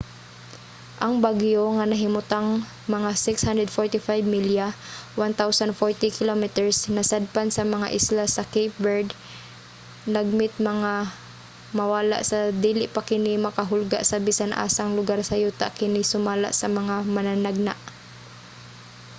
ang bagyo nga nahimutang mga 645 milya 1040 km kasadpan sa mga isla sa cape verde lagmit nga mawala sa dili pa kini makahulga sa bisan-asang lugar sa yuta kini sumala sa mga mananagna